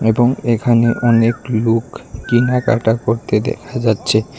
এবং এখানে অনেক লুক কেনাকাটা করতে দেখা যাচচে।